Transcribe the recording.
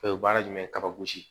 O ye baara jumɛn ye kabagosi